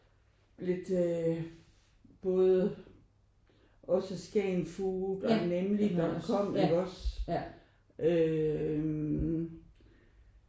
Lidt øh både også Skagenfood og Nemlig.com ikke også øh